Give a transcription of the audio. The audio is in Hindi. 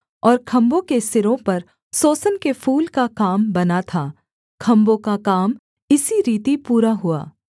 और खम्भों के सिरों पर सोसन के फूल का काम बना था खम्भों का काम इसी रीति पूरा हुआ